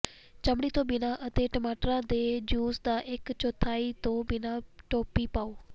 ਚਮੜੀ ਤੋਂ ਬਿਨਾਂ ਅਤੇ ਟਮਾਟਰਾਂ ਦੇ ਜੂਸ ਦਾ ਇਕ ਚੌਥਾਈ ਤੋਂ ਬਿਨਾਂ ਟੋਪੀ ਪਾਉ